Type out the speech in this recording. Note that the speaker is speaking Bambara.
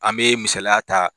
An be misaliya ta